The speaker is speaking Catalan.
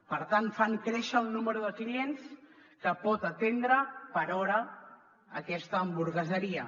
per tant fan créixer el nombre de clients que pot atendre per hora aquesta hamburgueseria